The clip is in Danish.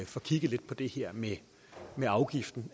får kigget lidt på det her med afgiften